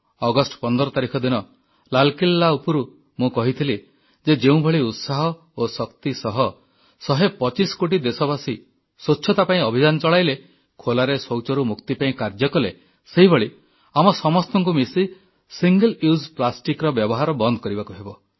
August 15 ତାରିଖ ଦିନ ଲାଲକିଲ୍ଲା ଉପରୁ ମୁଁ କହିଥିଲି ଯେ ଯେଉଁଭଳି ଉତ୍ସାହ ଓ ଶକ୍ତି ସହ 125 କୋଟି ଦେଶବାସୀ ସ୍ୱଚ୍ଛତା ପାଇଁ ଅଭିଯାନ ଚଳାଇଲେ ଖୋଲାରେ ଶୌଚରୁ ମୁକ୍ତି ପାଇଁ କାର୍ଯ୍ୟ କଲେ ସେହିଭଳି ଆମ ସମସ୍ତଙ୍କୁ ମିଶି ସିଙ୍ଗଲ ୟୁଜ୍ ପ୍ଲାଷ୍ଟିକର ବ୍ୟବହାର ବନ୍ଦ କରିବାକୁ ହେବ